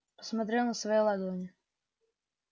смотрел на свои ладони